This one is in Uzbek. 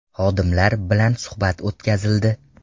Xodimlar bilan suhbat o‘tkazildi.